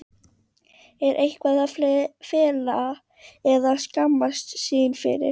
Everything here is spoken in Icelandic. Er eitthvað að fela eða skammast sín fyrir?